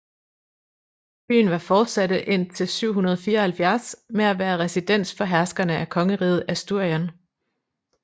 Byen var fortsatte indtil 774 med at være residens for herskerne af Kongeriget Asturien